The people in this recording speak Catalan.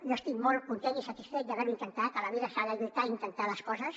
jo estic molt content i satisfet d’haver ho intentat a la vida s’ha de lluitar i intentar les coses